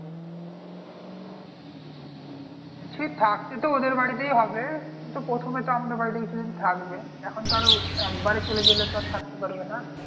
বলছি থাকতে তো ওদের বাড়িতেই হবে। কিন্তু, প্রথমে তো আমাদের বাড়িতে কিছুদিন থাকবে। এখন ধর একবারে চলে গেলে আর থাকতে পারবে না।